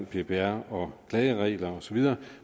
ppr og klageregler osv